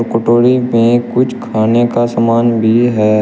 कटोरी में कुछ खाने का सामान भी है।